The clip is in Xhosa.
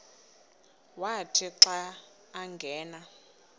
wathi xa angena